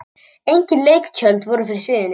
Engin leiktjöld voru fyrir sviðinu.